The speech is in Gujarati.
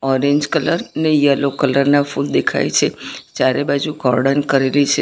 ઓરેંજ કલર ને યલો કલર ના ફૂલ દેખાય છે ચારે બાજુ કોર્ડન કરેલી છે.